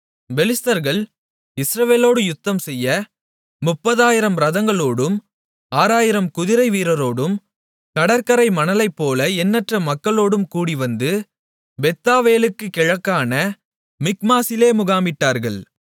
பெலிஸ்தர்கள் இஸ்ரவேலோடு யுத்தம்செய்ய 30000 இரதங்களோடும் 6000 குதிரைவீரரோடும் கடற்கரை மணலைப்போல எண்ணற்ற மக்களோடும் கூடிவந்து பெத்தாவேலுக்குக் கிழக்கான மிக்மாசிலே முகாமிட்டார்கள்